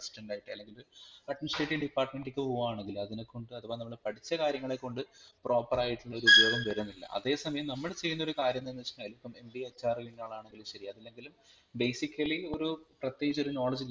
അല്ലെങ്കിൽ ADMINISTRATIVE DEPARTMENT ലേക്പോകുകയാണെങ്കിൽ അതിനെ കൊണ്ട് അഥവാ നമ്മൾ പഠിച്ച കാര്യങ്ങളെ കൊണ്ട് PROPER ആയിട്ടുള്ള ഒരു ഉപയോഗം വരുന്നില്ല അതെ സമയം നമ്മൾ ചെയ്യുന്ന ഒരു കാര്യം എന്താനെന്നുവെച്ചാൽ ഇപ്പം MBAHR കയിഞ്ഞാളാണെങ്കിൽ ശരി അതല്ലെങ്കിൽ basically ഒരു പ്രതേകിച് ഒരു knowledge